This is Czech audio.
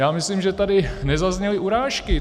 Já myslím, že tady nezazněly urážky.